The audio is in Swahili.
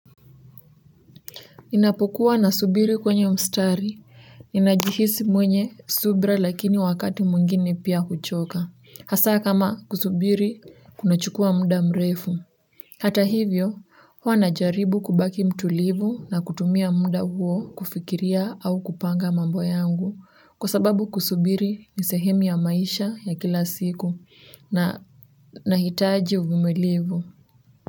Inapokuwa nasubiri kwenye mstari, ninajihisi mwenye subira lakini wakati mwingine pia kuchoka. Hasa kama kusubiri, kunachukua muda mrefu. Hata hivyo, huwa najaribu kubaki mtulivu na kutumia muda huo kufikiria au kupanga mambo yangu. Kwa sababu kusubiri ni sehemu ya maisha ya kila siku na nahitaji uvumilivu.